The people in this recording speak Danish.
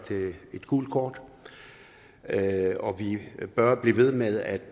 et gult kort og at vi bør blive ved med at